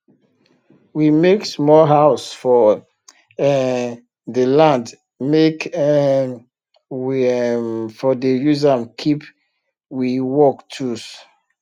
we make small house for um dey land make um we um for dey use am keep we work tools